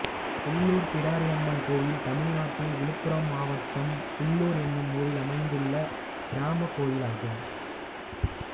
புல்லூர் பிடாரியம்மன் கோயில் தமிழ்நாட்டில் விழுப்புரம் மாவட்டம் புல்லூர் என்னும் ஊரில் அமைந்துள்ள கிராமக் கோயிலாகும்